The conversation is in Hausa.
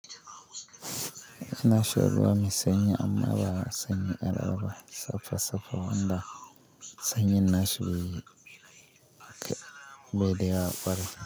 Nashar ba mi sanyi amma ba sanyi al'ada saffa-saffa, wanda sanyi nashi be, bede ya fara.